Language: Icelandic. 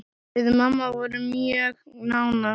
Við mamma vorum mjög nánar.